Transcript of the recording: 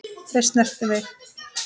Þau snertu mig.